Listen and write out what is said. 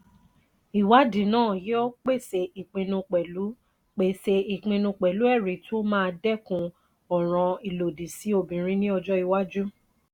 ìwádìí na yí ọ pèsè ìpinnu pelu pèsè ìpinnu pelu ẹri tó má dekun ọ̀ràn ìlòdì sì obirin ni ojo iwájú.